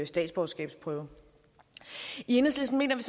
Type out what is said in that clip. statsborgerskabsprøve i enhedslisten mener vi